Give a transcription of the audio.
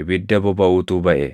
ibidda bobaʼutu baʼe.